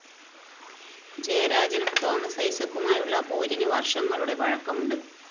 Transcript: ജയരാജനും തോമസ് ഐസക്കുമായുള്ള പോരിന് വര്‍ഷങ്ങളുടെ പഴക്കവുമുണ്ട്